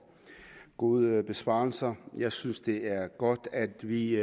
gode besvarelser jeg synes det er godt at vi